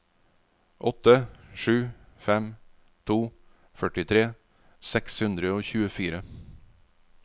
åtte sju fem to førtitre seks hundre og tjuefire